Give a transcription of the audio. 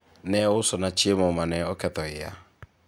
ne ousona chiemo mane oketho iya